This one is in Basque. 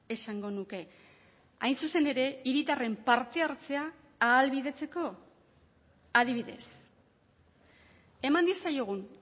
esango nuke hain zuzen ere hiritarren parte hartzea ahalbidetzeko adibidez eman diezaiogun